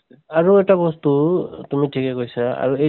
আৰু এটা বস্তু তুমি ঠিকেই কৈছা । আৰু সেই